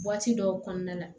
dɔw kɔnɔna la